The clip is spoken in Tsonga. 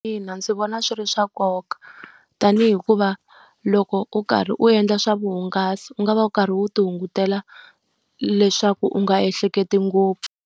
Ina ndzi vona swi ri swa nkoka tanihi hikuva loko u karhi u endla swa vuhungasi, u nga va u karhi u ti hungutela leswaku u nga ehleketi ngopfu.